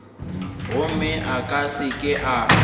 gomme a se ke a